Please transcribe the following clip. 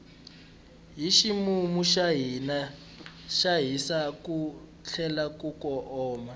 hi ximumu ka hisa ku tlhela ku oma